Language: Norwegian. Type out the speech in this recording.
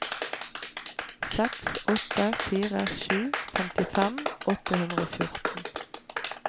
seks åtte fire sju femtifem åtte hundre og fjorten